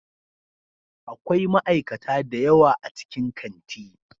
Akwai ma'aikata da yawa a cikin kanti.